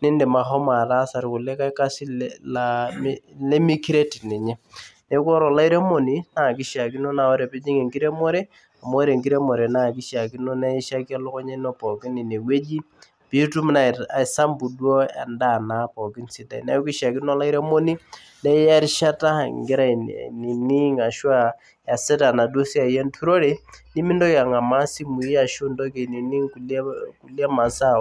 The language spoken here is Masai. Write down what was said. nindim ahomo ataasa irkulikae kasin le laa nemikiret ninye neku ore olairemoni naa kishiakino naa ore pijing enkiremore amu ore enkiremore naa kishiakino naishaki elukunya ino pookin inewueji piitum naa aisambu duo endaa naa pookin sidai neku ishiakino olairemoni naa iya erishata ingira ainining ashua iyasita enaduo siai enturore nimintoki ang'amaa isimui ashu intoki ainining kulie masaa.